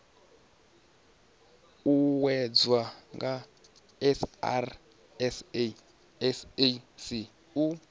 uuwedzwa nga srsa sasc u